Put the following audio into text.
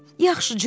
Yaxşı, Co.